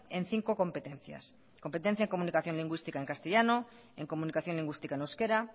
en cinco competencias competencia en comunicación lingüística en castellano en comunicación lingüística en euskera